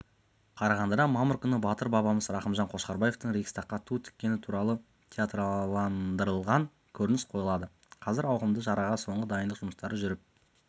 қарағандыда мамыр күні батыр бабамыз рақымжан қошқарбаевтың рейхстагқа ту тіккені туралы театрландырылған көрініс қойылады қазір ауқымды шараға соңғы дайындық жұмыстары жүріп